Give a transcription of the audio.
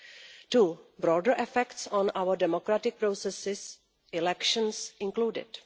Second, broader effects on our democratic processes, elections included.